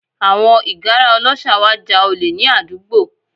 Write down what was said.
Àwọn ìgárá ọlọ́ṣà wá ja olè ní àdúgbò